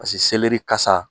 Pase kasa